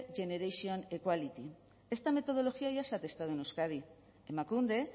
generation equality esta metodología ya se ha testado en euskadi emakunde